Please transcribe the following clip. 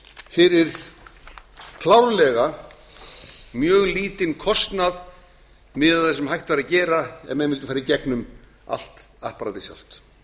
fyrir klárlega mjög lítinn kostnað miðað við það sem hægt væri að gera ef menn mundu fara í gegnum allt apparatið sjálft